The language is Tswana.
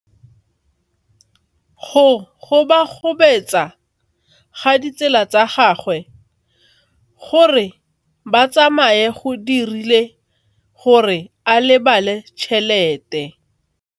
Go gobagobetsa ga ditsala tsa gagwe, gore ba tsamaye go dirile gore a lebale tšhelete.